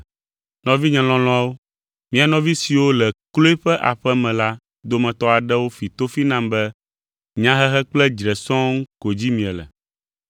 Nɔvinye lɔlɔ̃awo, mia nɔvi siwo le Kloe ƒe aƒe me la dometɔ aɖewo fi tofi nam be nyahehe kple dzre sɔŋ ko dzi miele.